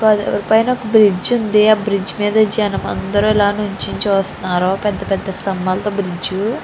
పైన ఒక బ్రిడ్జి వుంది ఆ బ్రిడ్జి మీద జనమందరు అల నిల్చొని చూస్తున్నారుపెద్ద పెద్ద స్తంభాలతో బ్రిడ్జి --